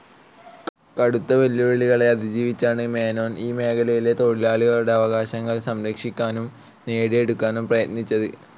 കടുത്ത വെല്ലുവിളികളെ അതിജീവിച്ചാണ് മേനോൻ ഈ മേഖലയിലെ തൊഴിലാളികളുടെ അവകാശങ്ങൾ സംരക്ഷിക്കാനും നേടിയെടുക്കാനും പ്രയത്നിച്ചത്.